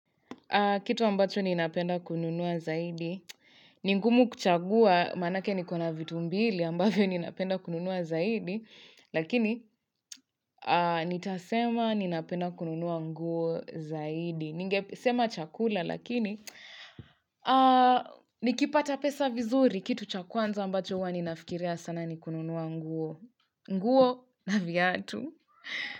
Kitu ambacho ninapenda kununua zaidi, ni ngumu kuchagua maanake niko na vitu mbili ambavyo ninapenda kununua zaidi. Lakini nitasema ninapenda kununua nguo zaidi. Ningesema chakula lakini nikipata pesa vizuri, kitu cha kwanza ambacho huwa ninafikiria sana ni kununua nguo. Nguo na viatu.